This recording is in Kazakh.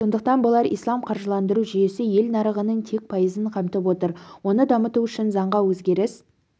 сондықтан болар ислам қаржыландыру жүйесі ел нарығының тек пайызын қамтып отыр оны дамыту үшін заңға өзгеріс